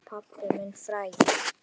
Pabbinn frægi.